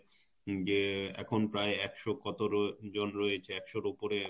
যে এখন প্রায় একশ কত জন রয়েছে একশ এর উপরে